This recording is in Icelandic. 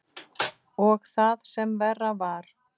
Og það sem verra var.